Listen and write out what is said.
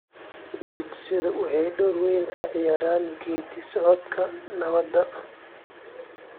Dugsiyadu waxay door weyn ka ciyaaraan geeddi-socodka nabadda .